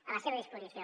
a la seva disposició